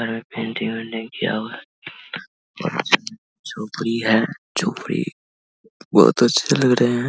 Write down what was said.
यहां पे बेल्डिंग - उल्ल्डिंग किया हुआ है झोपड़ी है झोपड़ी बहुत अच्छे लग रहे है ।